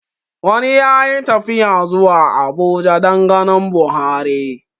Wani ya yi tafiya zuwa Abuja dan ganin Buhari